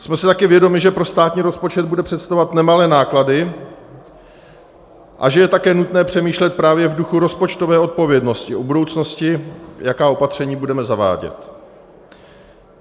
Jsme si také vědomi, že pro státní rozpočet bude představovat nemalé náklady a že je také nutné přemýšlet právě v duchu rozpočtové odpovědnosti o budoucnosti, jaká opatření budeme zavádět.